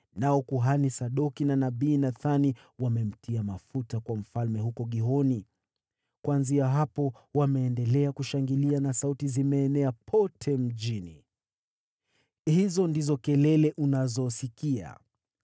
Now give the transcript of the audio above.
nao kuhani Sadoki na nabii Nathani wamemtia mafuta kuwa mfalme huko Gihoni. Kuanzia hapo wameendelea kushangilia na sauti zimeenea pote mjini. Hizo ndizo kelele unazosikia.